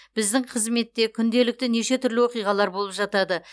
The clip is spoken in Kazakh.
біздің қызметте күнделікті неше түрлі оқиғалар болып жатады